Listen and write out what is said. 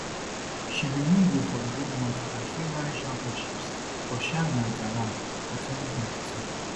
she bin win gold for di world mountain and trail running championships for chiang mai thailand for 2022